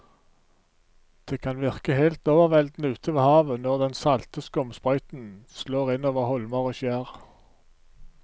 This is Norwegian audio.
Det kan virke helt overveldende ute ved havet når den salte skumsprøyten slår innover holmer og skjær.